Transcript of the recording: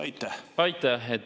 Aitäh!